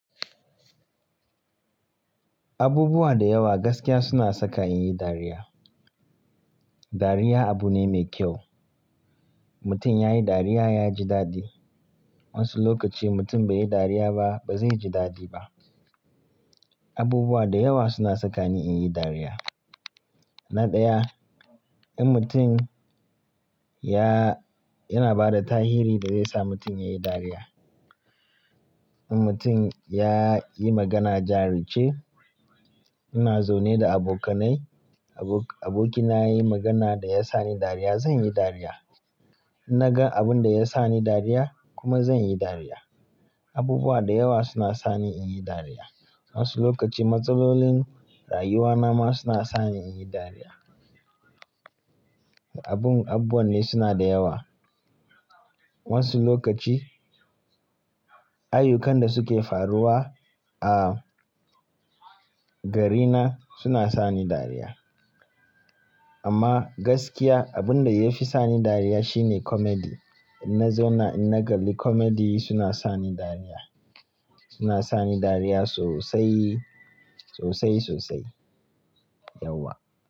Abubuwa da yawa gaskiya suna saka in yi dariya. Dariya abu ne mai kyau. Mutum ya yi dariya, ya ji daɗi. Wansu lokaci mutum bai yi dariya ba, ba zai ji daɗi ba. Abubuwa da yawa suna saka ni in yi dariya. Na ɗaya, in mutum ya-- yana ba da tahiri da zai sa mutum ya yi dariya. In mutum ya yi magana jarice, ina zaune da abokanai, abo-abokina ya yi magana da ya sa ni dariya, zan yi dariya. In na ga abun da ya sa ni dariya kuma zan yi dariya. Abubuwa da yawa suna sani in yi dariya. Wasu lokaci matsalolin rayuwa na ma suna sani in yi dariya. Abun-- abubuwa ne suna da yawa. Wasu lokaci, ayyukan da suke faruwa a garina suna sani dariya. Amma gaskiya, abun da ya fi sani dariya shine comedy. In na zauna, in na galli comedy suna sani dariya. Suna sani dariya sosai, sosai sosai. Yauwa.